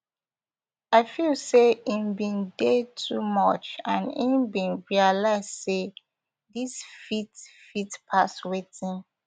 i feel say im bin dey too much and im bin realise say dis fit fit pass wetin